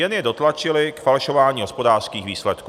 Jen je dotlačily k falšování hospodářských výsledků.